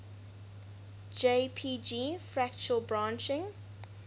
jpg fractal branching